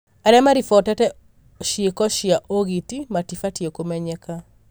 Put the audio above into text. aria maribotete ciĩko cia ũgiti matibatiĩ kũmenyeka.